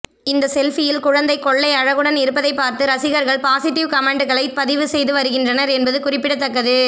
இந்த செல்பியில் குழந்தை கொள்ளை அழகுடன் இருப்பதை பார்த்து ரசிகர்கள் பாசிட்டிவ் கமெண்ட்டுகளை பதிவு செய்து வருகின்றனர் என்பது குறிப்பிடத்தக்கது